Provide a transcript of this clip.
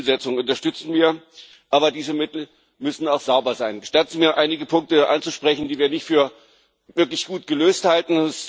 Auch diese Zielsetzung unterstützen wir. Aber diese Mittel müssen auch sauber sein. Gestatten Sie mir, einige Punkte anzusprechen, die wir nicht für wirklich gut gelöst halten.